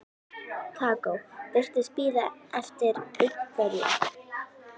Kókó og virtist bíða eftir einhverjum.